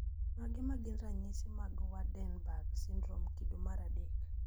Mage magin ranyisi mag Waardenburg syndrome kido mar adek